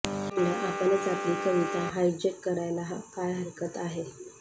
म्हणलं आपणच आपली कविता हायज्यक करायला काय हरकत आहे